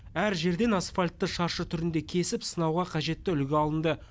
әр жерден асфальтты шаршы түрінде кесіп сынауға қажетті үлгі алынды